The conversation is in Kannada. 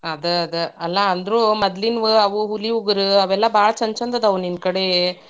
ಅದ ಅದ, ಅಲಾ ಅಂದ್ರೂ ಮೊದ್ಲಿನ್ವು ಹುಲಿ ಉಗರ್ ಅವೆಲ್ಲಾ ಭಾಳ್ ಛೆಂದ ಛೆಂದ್ ಅದಾವ್ ನಿನ್ನ ಕಡೆ.